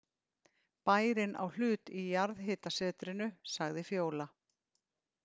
Bærinn á hlut í jarðhitasetrinu, sagði Fjóla.